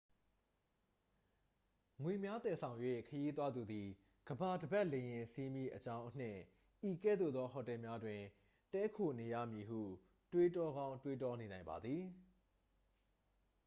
ငွေများသယ်ဆောင်၍ ခရီးသွားသူသည် ကမ္ဘာတစ်ပတ်လေယာဉ်စီးမည့်အကြောင့်အနှင့် ဤကဲ့သို့သော ဟိုတယ်များတွင် တည်းခိုးနေရမည်ဟု တွေးတော်ကောင်း တွေးတောနေနိုင်ပါသ်ည